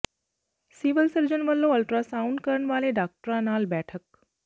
civil surgeon ਵਲੋਂ ultrasound ਕਰਨ ਵਾਲੇ ਡਾਕਟਰਾਂ ਨਾਲ ਬੈਠਕ